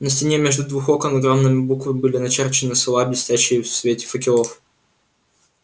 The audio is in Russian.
на стене между двух окон огромными буквами были начерчены слова блестящие в свете факелов